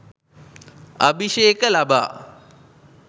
අභිෂේක ලබා